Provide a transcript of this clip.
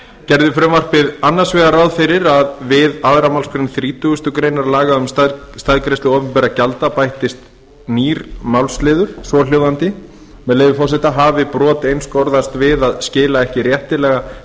gerði frumvarpið annars vegar ráð fyrir að við aðra málsgrein þrítugustu greinar laga um staðgreiðslu opinberra gjalda bættist nýr málsliður svohljóðandi með leyfi forseta hafi brot einskorðast við að skila ekki réttilega